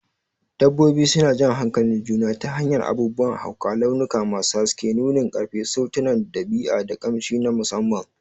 Dabbobi suna jan hankalin juna ta hanyar abubuwan hauka, launuka masu haske, nunin ƙarfi, sautunan ɗabi'a, da ƙamshi na musamman.